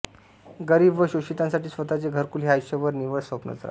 गरीब व शोषितांसाठी स्वतःचे घरकुल हे आयुष्यभर निव्वळ स्वप्नच राहते